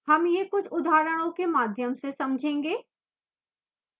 हम यह कुछ उदाहरणों के माध्यम से समझेंगे